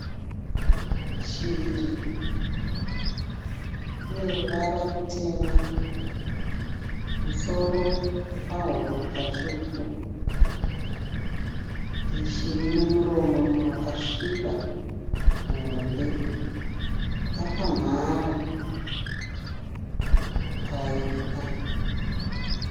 Shiri. Ine ruvara rutema, musoro napahuro patsvuku. Iyi shiri ine muromo wakasviba muhombe. Yakamhara paipwa.